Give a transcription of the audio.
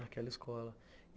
Naquela escola.